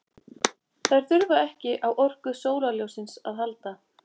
þær þurfa ekki á orku sólarljóssins að halda